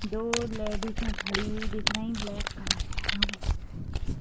दो लेडिसे खड़ी हुई दिख रही है। ब्लैक कलर पहना हुआ दिख रही है।